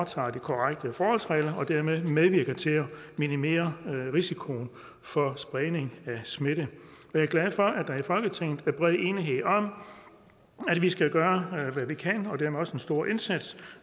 tager de korrekte forholdsregler og dermed medvirker til at minimere risikoen for spredning af smitte jeg er glad for at der i folketinget er bred enighed om at vi skal gøre hvad vi kan og dermed også gøre en stor indsats